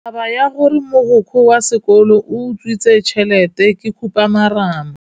Taba ya gore mogokgo wa sekolo o utswitse tšhelete ke khupamarama.